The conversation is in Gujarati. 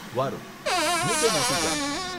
વારુ, હું તે નહોતી જાણતી.